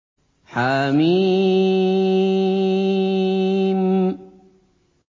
حم